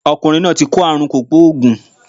Ọkùnrin náà ti kó àrùn kògbóògùn